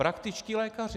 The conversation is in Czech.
Praktičtí lékaři.